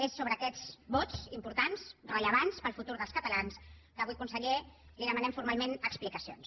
és sobre aquests vots importants rellevants per al futur dels catalans que avui conseller li demanem formalment explicacions